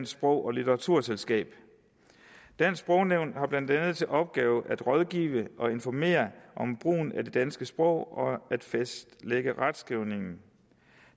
sprog og litteraturselskab dansk sprognævn har blandt andet til opgave at rådgive og informere om brugen af det danske sprog og at fastlægge retskrivningen